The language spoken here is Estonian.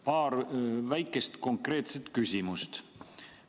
Paar väikest konkreetset küsimust.